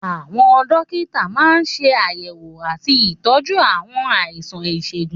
Àwọn dókítà máa ń ṣe àyẹ̀wò àti ìtọ́jú àwọn àìsàn ìṣègùn.